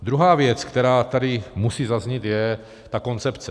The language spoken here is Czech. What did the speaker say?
Druhá věc, která tady musí zaznít, je ta koncepce.